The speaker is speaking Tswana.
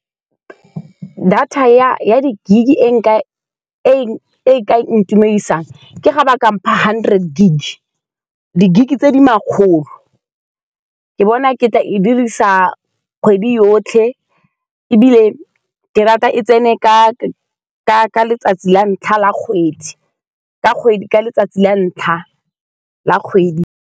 Data ya-ya di-gig-e, nka e-e ka ntumedisang. Ke ga ba ka mpha hundred gig, di-gig-e tse di makgolo, ke bona ke tla e dirisa kgwedi yotlhe. Ebile ke rata e tsene ka-ka letsatsi la ntlha la kgwedi, ka kgwedi ka letsatsi la ntlha la kgwedi.